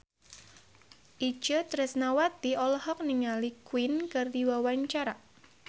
Itje Tresnawati olohok ningali Queen keur diwawancara